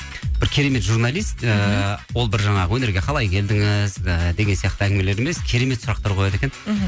бір керемет журналист ыыы ол бір жаңағы өнерге қалай келдіңіз ііі деген сияқты әңгімелер емес керемет сұрақтар қояды екен мхм